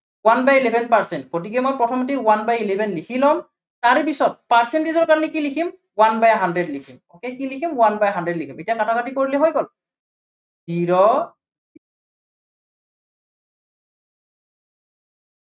one by eleven percent গতিকে মই প্ৰথমতে one by eleven লিখি লম। তাৰে পিছত percentage ৰ কাৰনে কি লিখিম one by hundred লিখিম। okay কি লিখিম one by hundred লিখিম। এতিয়া কাটাকাটি কৰিল হৈ গল zero